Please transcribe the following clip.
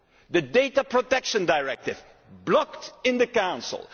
the Data Protection Directive blocked in the Council.